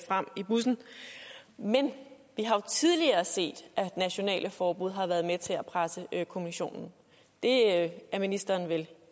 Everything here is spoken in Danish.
frem i bussen men vi har jo tidligere set at nationale forbud har været med til at presse kommissionen det er ministeren vel